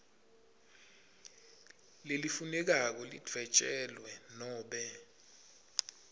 lelifunekako lidvwetjelwe nobe